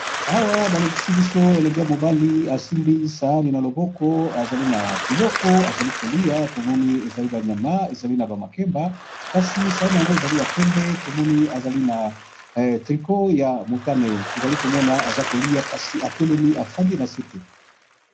Awa balakisi biso elenge ya mobali asimbi sayani na loboko azali na biloko azali kolia tomoni ezali banyama ezali na bamakemba kasi sayani yango ezali ya pembe tomoni ezali na trico ya mutane tozali komona aza kolia kasi atelemi afandi na se te.